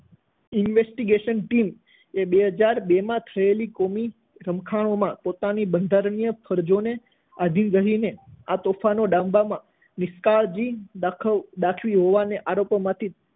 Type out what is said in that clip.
investigation team એ બે હાજર બેમાં થયેલા કોમી રમખાણોમાં પોતાની બંધારણીય ફરજોને આધિન રહીને આ તોફાનો ડામવામાં નિષ્કાળજી દાખ~દાખવી હોવાના આરોપોમાંથી